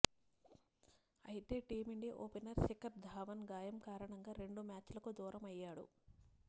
అయితే team India opener Shikhar Dhawan గాయం కారణంగా రెండు మ్యాచ్లకు దూరమయ్యాడు